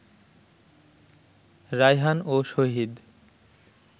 রায়হান ও শহীদ